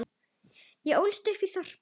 Ég ólst upp í þorpi.